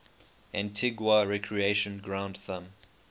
antigua recreation ground thumb